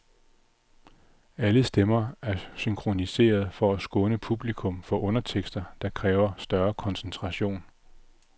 Alle stemmer er synkroniserede for at skåne publikum for undertekster, der kræver større koncentration.